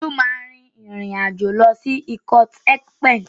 Olú máa rin ìrìn àjò lọ sí ikot-ekpene.